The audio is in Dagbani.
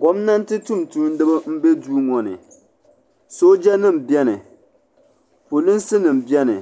Gomnanti tumtumdiba m be duu ŋɔ ni sooja nima beni polinsi nima beni